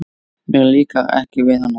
Mér líkar ekki við hana.